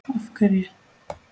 Og af hverju ekki?